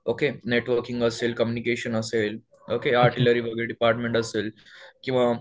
okay networking असेल communication असेल okay artillery department असेल किंवा